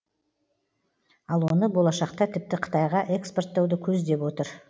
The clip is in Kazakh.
ал оны болашақта тіпті қытайға экспорттауды көздеп отыр